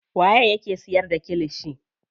Waye yake siyar da kilishi.